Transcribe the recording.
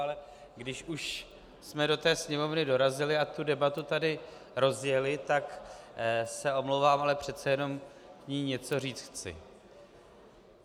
Ale když už jsme do té Sněmovny dorazili a tu debatu tady rozjeli, tak se omlouvám, ale přece jenom k ní něco říci chci.